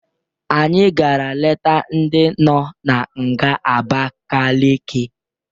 Anyị gara leta ndị nọ na nga Abakaleke.